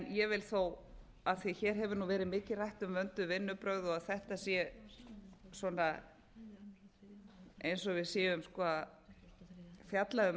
ég vil þó af því hér hefur nú verið mikið rætt um vönduð vinnubrögð og að þetta sé svona eins og við séum að fjalla um